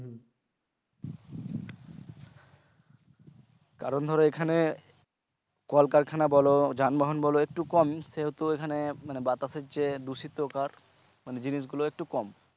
কারণ ধরো একজনে কলকারখানা বলো যানবাহন বলো একটু কম সেহেতু এখানে মানে বাতাসের যে দূষিতকার মানে জিনিস গুলো কম,